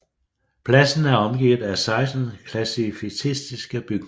Pladsen er omgivet af 16 klassicistiske bygninger